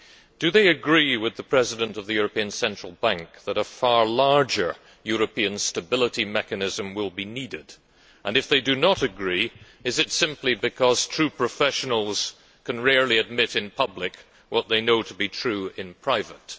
Do they agree with the President of the European Central Bank that a far larger European stability mechanism will be needed? If they do not agree, is it simply because true professionals can rarely admit in public what they know to be true in private?